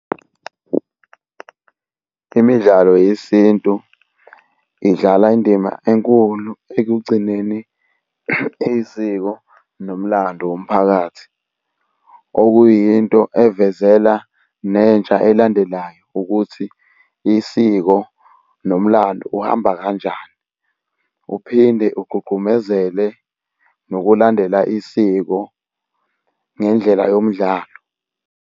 Imidlalo yesintu idlala indima enkulu ekugcineni isiko nomlando womphakathi. Okuyinto avezela nentsha elandelayo ukuthi isiko nomlando uhamba kanjani? Uphinde ugqugqumezele nokulandela isiko ngendlela yomdlalo.